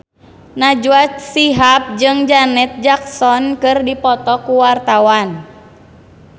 Najwa Shihab jeung Janet Jackson keur dipoto ku wartawan